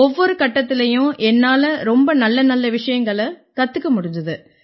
ஒவ்வொரு கட்டத்திலயும் என்னால ரொம்ப நல்லநல்ல விஷயங்களைக் கத்துக்க முடிஞ்சுது